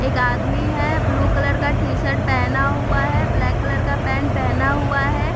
एक आदमी है ब्लू कलर का टी-शर्ट पहना हुआ है ब्लॅक कलर का पॅन्ट पहना हुआ है।